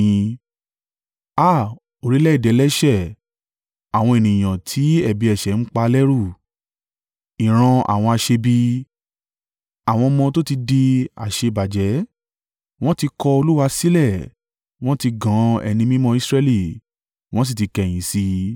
Á à! Orílẹ̀-èdè ẹlẹ́ṣẹ̀, àwọn ènìyàn tí ẹ̀bi ẹ̀ṣẹ̀ ń pa lẹ́rù, ìran àwọn aṣebi, àwọn ọmọ tó ti di aṣèbàjẹ́! Wọn ti kọ Olúwa sílẹ̀ wọn ti gan Ẹni Mímọ́ Israẹli, wọn sì ti kẹ̀yìn sí i.